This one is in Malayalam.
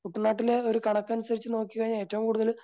കുട്ടനാട്ടിലെ ഒരു കണക്കനുസരിച്ച് നോക്കി കഴിഞ്ഞാൽ ഏറ്റവും കൂടുതൽ